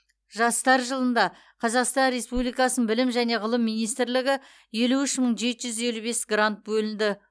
жастар жылында қазақстан республикасының білім және ғылым министрлігі елу үш мың жеті жүз елу бес грант бөлді